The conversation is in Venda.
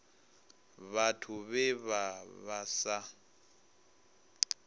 vhathu vhe vha vha sa